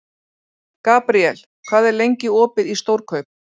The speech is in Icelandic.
Gabriel, hvað er lengi opið í Stórkaup?